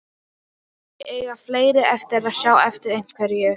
Kannski eiga fleiri eftir að sjá eftir einhverju.